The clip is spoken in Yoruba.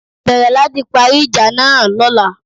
Bẹ̀rẹ̀ láti parí ìjà náà Lọ́la